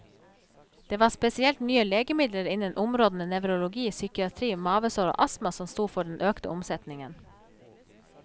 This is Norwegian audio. Det var spesielt nye legemidler innen områdene nevrologi, psykiatri, mavesår og astma som sto for den økte omsetningen.